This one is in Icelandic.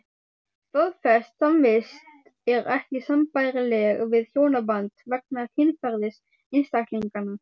Staðfest samvist er ekki sambærileg við hjónaband vegna kynferðis einstaklinganna.